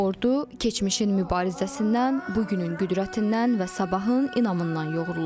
Bu ordu keçmişin mübarizəsindən, bu günün qüdrətindən və sabahın inamından yoğrulub.